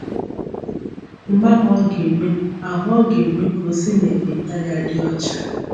Mgbe ahụ ọ ga-eme ahụ ọ ga-eme ka o si n’ekpenta ya dị ọcha”